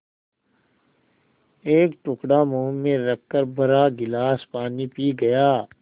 एक टुकड़ा मुँह में रखकर भरा गिलास पानी पी गया